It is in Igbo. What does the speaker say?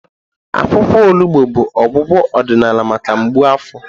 Akwụkwọ olugbo bụ ọgwụgwọ ọdịnala maka mgbu afọ.